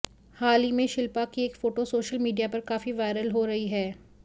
हाल ही में शिल्पा की एक फोटो सोशल मीडिया पर काफी वायरल हो रही है